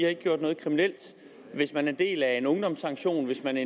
har gjort noget kriminelt hvis man er en del af en ungdomssanktion hvis man